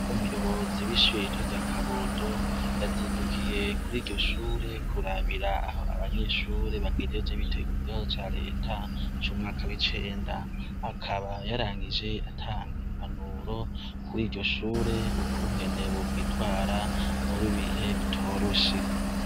Umuyobozi w' ishure rya kabondo yazindukuyi kuri iryo shure kurabira aho abanyeshure bagejeje bitegura ikibazo ca reta c' umwaka w' icenda akaba yarangije atanga impanuro kuri iryo shure ukungene bokwitwara muri ibi bihe bitoroshe.